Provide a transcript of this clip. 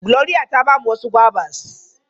Glory ta ba mu wasu gwabas.